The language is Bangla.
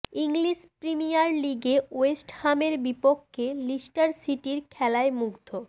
ইংলিশ প্রিমিয়ার লিগে ওয়েস্ট হামের বিপক্ষে লিস্টার সিটির খেলায় মুগ্ধ